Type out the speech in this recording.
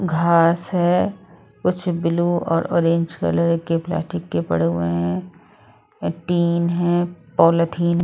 घास है कुछ ब्लू और ऑरेंज कलर के प्लास्टिक के पड़े हुए हैं। टीन है। पॉलिथीन --